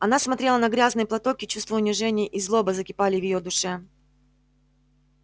она смотрела на грязный платок и чувство унижения и злоба закипали в её душе